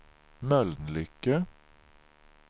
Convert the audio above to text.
Mölnlycke